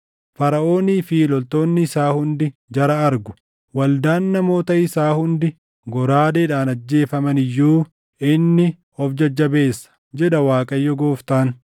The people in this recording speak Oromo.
“Faraʼoonii fi loltoonni isaa hundi jara argu; waldaan namoota isaa hundi goraadeedhaan ajjeefamani iyyuu inni of jajjabeessa, jedha Waaqayyo Gooftaan.